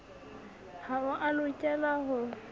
ha o a lokela ho